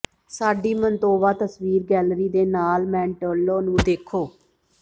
ਸਾਡੀ ਮੰਤੋਵਾ ਤਸਵੀਰ ਗੈਲਰੀ ਦੇ ਨਾਲ ਮੈਂਟੋਲੋ ਨੂੰ ਦੇਖੋ